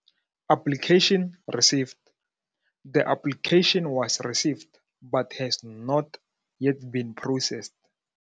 Application received. The application was received, but has not yet been processed.